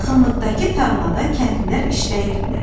Yaxınlıqdakı tarlada kəndlilər işləyirdilər.